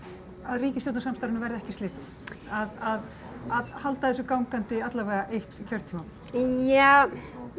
ríkisstjórnarsamstarfinu verði ekki slitið að að halda þessu gangandi alla vega eitt kjörtímabil ja